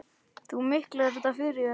Þú miklar þetta fyrir þér.